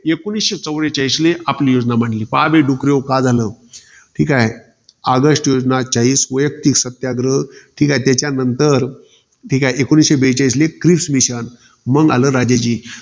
एकोणीसशे चौवेचाळीसले आपली योजना मांडली. पहा बे डुकरेहो काय झालं. ठीकाय. ऑगस्ट योजना चाळीस. वयक्तिक सत्याग्रह, ठीके, त्याच्यानंतर एकोणीसशे बेचाळीसले क्रिस mission मंग आलं, राजाजी.